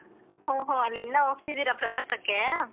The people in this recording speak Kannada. ಓಹೋ ಅಲ್ಲೆಲ್ಲ ಹೋಗ್ತಿದಿರ ಪ್ರವಾಸಕ್ಕೆ?